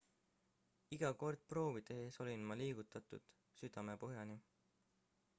iga kord proovi tehes olin ma liigutatud südamepõhjani